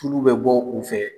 Furu bɛ bɔ u fɛ.